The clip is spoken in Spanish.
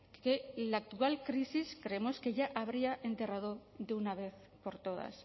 que la actual crisis creemos que ya habría enterrado de una vez por todas